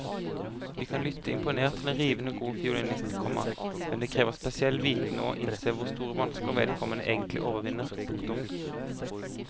Vi kan lytte imponert til en rivende god fiolinist, komma men det krever spesiell viten å innse hvor store vansker vedkommende egentlig overvinner. punktum